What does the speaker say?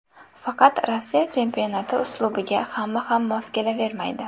Faqat Rossiya chempionati uslubiga hamma ham mos kelavermaydi.